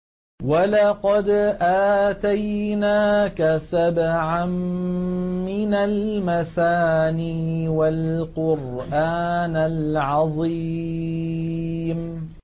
وَلَقَدْ آتَيْنَاكَ سَبْعًا مِّنَ الْمَثَانِي وَالْقُرْآنَ الْعَظِيمَ